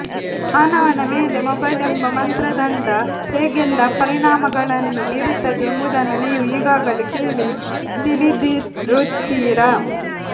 ಮಾನವನ ಮೇಲೆ ಮೊಬೈಲ್ ಎಂಬ ಮಂತ್ರದಂಡ ಹೇಗೆಲ್ಲಾ ಪರಿಣಾಮಗಳನ್ನು ಬೀರುತ್ತದೆ ಎಂಬುದನ್ನು ನೀವು ಈಗಾಗಲೇ ಕೆಳಿ ತಿಳಿದಿರುತ್ತೀರಾ